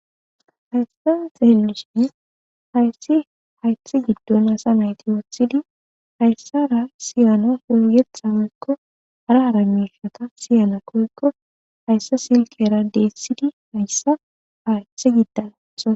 haystan xeelishin hayssi haythe giddon asa mayti woothidi hayssara siyana hoyethha woykko hara hara mishaka siyana koykko hayssa silkera dethidi hayssa haythe giddo athi